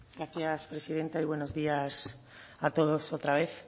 gracias presidenta y buenos días a todos otra vez